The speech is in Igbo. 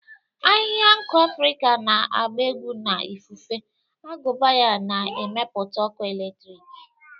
Ahịhịa nku Afrika na-agba egwu na ifufe, agụba ya na-emepụta ọkụ eletrik.